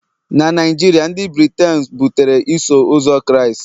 na Naijiria, ndị Britein butere Iso Ụzọ Kraịst..